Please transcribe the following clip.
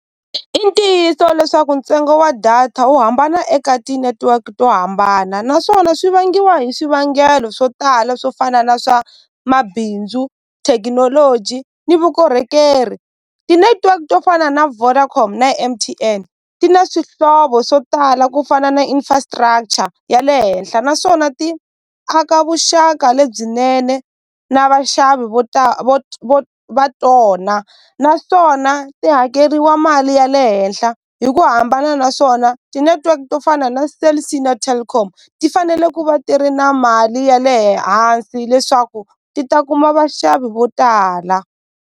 I ntiyiso leswaku ntsengo wa data wu hambana eka ti-network to hambana naswona swi vangiwa hi swivangelo swo tala swo fana na swa mabindzu thekinoloji ni vukorhokeri ti-network to fana na Vodacom na M_T_N ti na swihlovo swo tala ku fana na infrastructure ya le henhla naswona ti aka vuxaka lebyinene na vaxavi vo va tona naswona ti hakeriwa mali ya le henhla hi ku hambana naswona ti-network to fana na Cell C na Telkom ti fanele ku va ti ri na mali ya le hansi leswaku ti ta kuma vaxavi vo tala.